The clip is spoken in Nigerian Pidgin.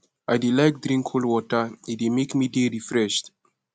i dey like drink cold water e dey make me dey refreshed